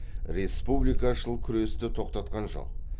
республикашыл күресті тоқтатқан жоқ